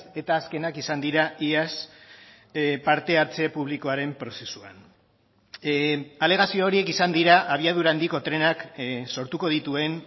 eta azkenak izan dira iaz parte hartze publikoaren prozesuan alegazio horiek izan dira abiadura handiko trenak sortuko dituen